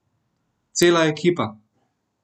Cela ekipa!